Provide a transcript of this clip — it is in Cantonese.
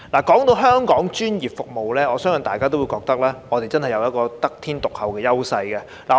談到香港的專業服務，我相信大家也會覺得我們真的有得天獨厚的優勢。